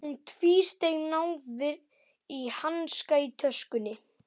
Hún tvísteig, náði í hanska í töskunni.